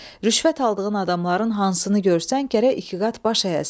Rüşvət aldığın adamların hansını görsən gərək iki qat baş əyəsən.